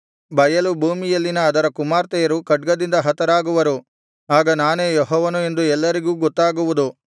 ಬಯಲು ಭೂಮಿಯಲ್ಲಿನ ಅದರ ಕುಮಾರ್ತೆಯರು ಖಡ್ಗದಿಂದ ಹತರಾಗುವರು ಆಗ ನಾನೇ ಯೆಹೋವನು ಎಂದು ಎಲ್ಲರಿಗೂ ಗೊತ್ತಾಗುವುದು